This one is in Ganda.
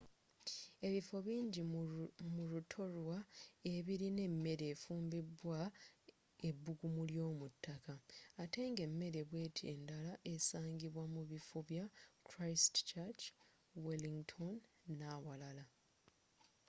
ebifo bingi mu rutorua ebilina emere efumbibwa ebbuggumu ly'omuttaka atte nga emere bweti endala esangibwa mu bifo bya christchurch wellington n'awalala